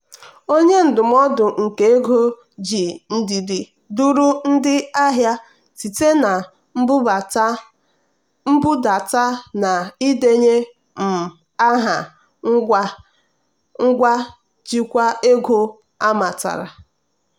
onye ndụmọdụ nke ego ji ndidi duru ndị ahịa site na mbudata na ịdenye um aha ngwa njikwa ego amatara.